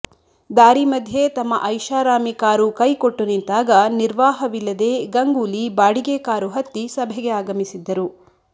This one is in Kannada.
ದಾರಿ ಮಧ್ಯೆ ತಮ್ಮ ಐಷಾರಾಮಿ ಕಾರು ಕೈಕೊಟ್ಟು ನಿಂತಾಗ ನಿರ್ವಾಹವಿಲ್ಲದೇ ಗಂಗೂಲಿ ಬಾಡಿಗೆ ಕಾರು ಹತ್ತಿ ಸಭೆಗೆ ಆಗಮಿಸಿದ್ದರು